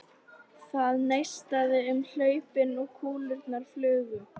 Það neistaði um hlaupin og kúlurnar flugu.